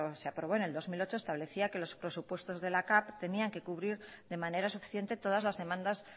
se aprobó en el dos mil ocho establecía que los presupuestos de la capv tenían que cubrir de manera suficiente todas las demandas